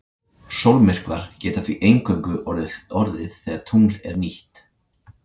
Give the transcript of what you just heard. Sólmyrkvar geta því eingöngu orðið þegar tungl er nýtt.